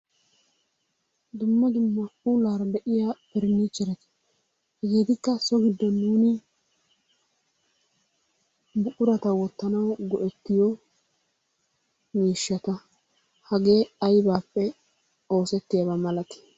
Dumma dumma puullara de'iyaa parinchcheretta, hegettikka so giddon nuuni buqquratta wottanawu go'"ettiyo miishshatta. Hagee aybappe oosettiyaaba milatti?